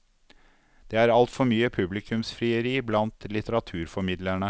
Det er altfor mye publikumsfrieri blant litteraturformidlerne.